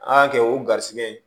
An y'a kɛ o garisɛgɛ ye